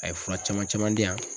A ye fura caman caman di yan.